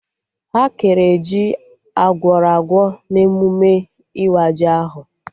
Ha kere ji Agwọrọ agwọ na emụme ịwa ji ahụ